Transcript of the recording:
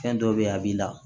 Fɛn dɔ be yen a b'i la